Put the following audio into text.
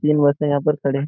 तीन बसें यहां पर खड़े --